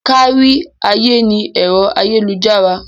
Kárí ayé ni ẹ̀rọ ayélujára.